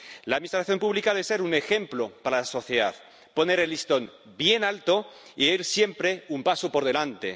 La administración pública de ser un ejemplo para la sociedad, poner el listón bien alto e ir siempre un paso por delante.